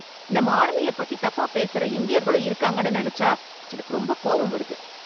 நம்ம ஆர்மியை பத்தி தப்பா பேசுற இந்தியர்களும் இருக்காங்கன்னு நினைச்சா எனக்கு ரொம்ப கோபம் வருது.